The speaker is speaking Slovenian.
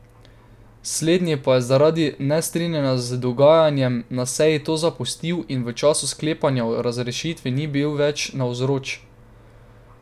Slednji pa je zaradi nestrinjanja z dogajanjem na seji to zapustil in v času sklepanja o razrešitvi ni bil več navzoč.